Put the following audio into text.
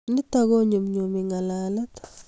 Nitok konyumnyumi ng'alalet